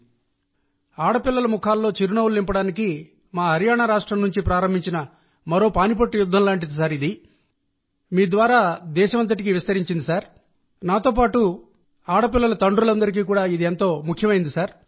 ప్రధానమంత్రి గారూ నిజానికి అమ్మాయిల ముఖాల్లో చిరునవ్వులు నింపేందుకు మా రాష్ట్రం హర్యానా నుండి ప్రారంభించి దేశం అంతటికీ విస్తరించిన నాలుగో పానిపట్టు యుద్ధం నాతోపాటు ప్రతి ఒక్క ఆడపిల్లల తండ్రికీ చాలా ముఖ్యమైంది